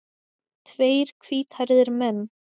Tveir hvíthærðir menn.